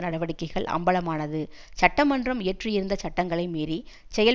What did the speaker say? நடவடிக்கைகள் அம்பலமானது சட்டமன்றம் இயற்றியிருந்த சட்டங்களை மீறி செயல்